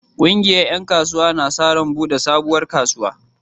Ƙungiyar ƴan kasuwa na sa ran buɗe sabuwar kasuwa.